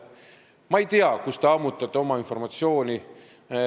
Ma ei tea, kust te ammutate oma informatsiooni.